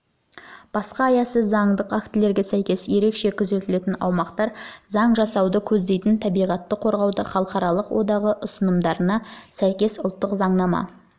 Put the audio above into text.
басқа аясы заңдық актілерге сәйкес ерекше күзетілетін аумақтар туралы заң жасауды көздейтін табиғатты қорғаудың халықаралық одағы ұсынымдарына сәйкес ұлттық заңнаманы